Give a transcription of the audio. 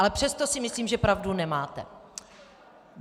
Ale přesto si myslím, že pravdu nemáte.